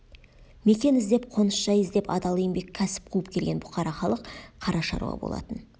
мекен іздеп қоныс-жай іздеп адал еңбек кәсіп қуып келген бұқара халық қара шаруа болатын